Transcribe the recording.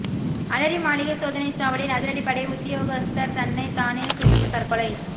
அலரி மாளிகை சோதனைச் சாவடியில் அதிரடிப் படை உத்தியோகத்தர் தன்னை தானே சுட்டு தற்கொலை